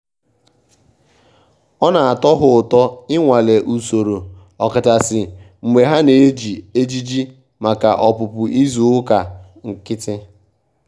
ọ́ nà-átọ́ hà ụ́tọ́ ị́nwàlé ùsòrò ọ́kàchàsị́ mgbè hà nà-éjí éjìjì màkà ọ́pụ́pụ́ ízù ụ́kà nkị́tị́.